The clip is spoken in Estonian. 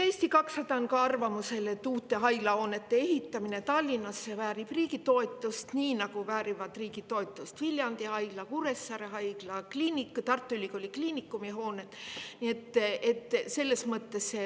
Eesti 200 on arvamusel, et uute haiglahoonete ehitamine Tallinnasse väärib riigi toetust, nii nagu väärivad riigi toetust Viljandi Haigla, Kuressaare Haigla ja Tartu Ülikooli Kliinikumi hooned.